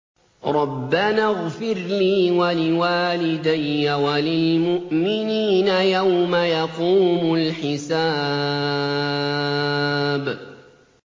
رَبَّنَا اغْفِرْ لِي وَلِوَالِدَيَّ وَلِلْمُؤْمِنِينَ يَوْمَ يَقُومُ الْحِسَابُ